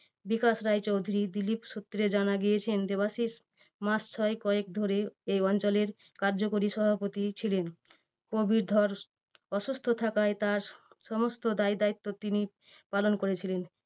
বিকাশ রায়চৌধুরী। দিলীপ সূত্রে জানা গিয়েছে দেবাশিস মাস ছয়েক কয়েক ধরে এই অঞ্চলের কার্যকরী সভাপতি ছিলেন। প্রবীর ধর অসুস্থ থাকায় তার সমস্ত দায়দায়িত্ব তিনি পালন করেছিলেন।